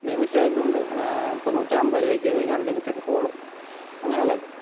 ഇതിണ്ട് ഏർ ഇപ്പോം നൂറ്റിഅമ്പതുരൂപയ്ക്ക് കഴിഞ്ഞ unlimited call അങ്ങനെയുള്ളത്